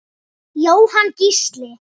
Jóhann Gísli.